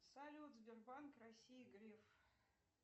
салют сбербанк россии греф